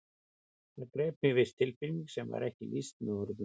Það greip mig viss tilfinning sem ekki verður lýst með orðum.